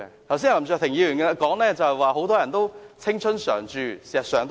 林卓廷議員剛才說很多人都青春常駐，這是事實。